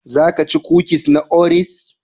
Za ka ci kukis na Oreos?